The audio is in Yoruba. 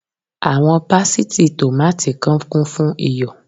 Àwọn pásítìì tòmáátì kan kún fún iyọ̀.